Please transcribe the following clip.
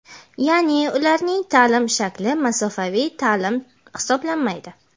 yaʼni ularning taʼlim shakli masofaviy taʼlim hisoblanmaydi.